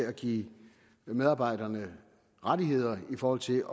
at give medarbejderne rettigheder i forhold til